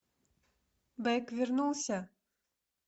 бэк вернулся